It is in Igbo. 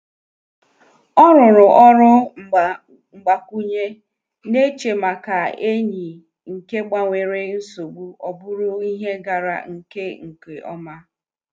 Ọ rụrụ ọrụ mgba-kwụnye, na-eche maka enyi nke gbanwere nsogbu ọ bụrụ ihe gara nke nke ọma